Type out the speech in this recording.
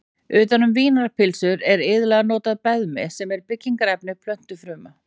Utan um vínarpylsur er iðulega notað beðmi sem er byggingarefni plöntufruma.